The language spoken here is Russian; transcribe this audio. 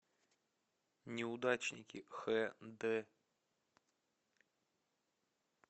неудачники хд